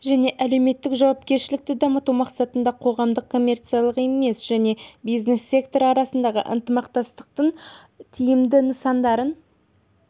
және әлеуметтік жауапкершілікті дамыту мақсатында қоғамдық коммерциялық емес және бизнес сектор арасындағы ынтымақтастықтың тиімді нысандарын